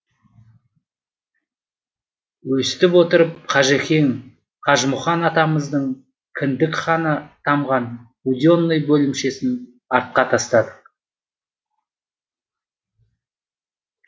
өстіп отырып қажекең қажымұқан атамыздың кіндік қаны тамған буденый бөлімшесін артқа тастадық